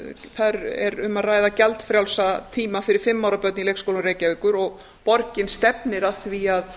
er um að ræða gjaldfrjálsa tíma fyrir fimm ára börn í leikskólum reykjavíkur og borgin stefnir að því að